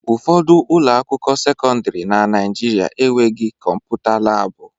Ụfọdụ ụlọ akwụkwọ sekọndrị na Naijiria enweghị kọmputa laabụ.